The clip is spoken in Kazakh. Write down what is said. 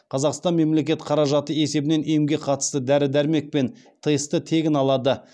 қазақстан мемлекет қаражаты есебінен емге қатысты дәрі дәрмек пен тестті тегін алады